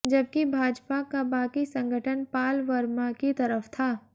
जबकि भाजपा का बाकी संगठन पाल वर्मा की तरफ था